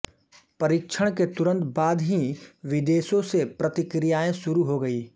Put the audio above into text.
परीक्षण के तुरंत बाद ही विदेशो से प्रतिक्रियाए शुरु हो गयी